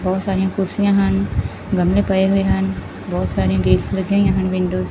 ਬਹੁਤ ਸਾਰੀਆਂ ਕੁਰਸੀਆਂ ਹਨ ਗਮਲੇ ਪਏ ਹੋਏ ਹਨ ਬਹੁਤ ਸਾਰੀਆਂ ਗੇਟਸ ਲੱਗੀਆਂ ਹੋਈਆਂ ਹਨ ਵਿੰਡੋਜ ।